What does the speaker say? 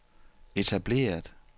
etableret